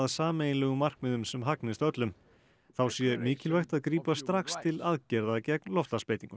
sameiginlegum markmiðum sem hagnist öllum þá sé mikilvægt að grípa strax til aðgerða gegn loftslagsbreytingum